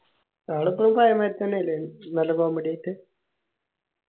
അയാൾ ഇപ്പോഴും പഴെയെ മാതിരി തന്നേല്ലേ നല്ല comedy ആയിട്ട്